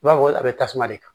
I b'a fɔ a bɛ tasuma de ta